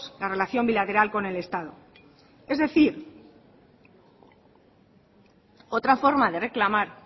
la relación bilateral con el estado es decir otra forma de reclamar